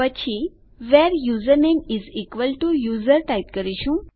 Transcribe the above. પછી where username is equal to user type કરીશું